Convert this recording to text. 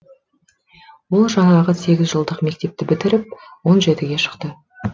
ол жаңағы сегіз жылдық мектепті бітіріп он жетіге шықты